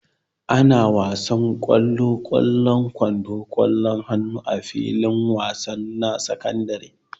Ana wasanin kwalo, kwallan kwando, kwallon hannu a filin wasa na sakandare.